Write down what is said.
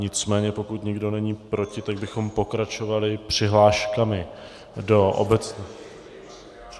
Nicméně pokud nikdo není proti, tak bychom pokračovali přihláškami do obecné...